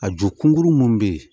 A ju kunkurunin mun bɛ yen